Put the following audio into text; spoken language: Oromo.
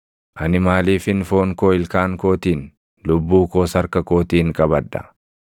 Ani maaliifin foon koo ilkaan kootiin, lubbuu koos harka kootiin qabadha?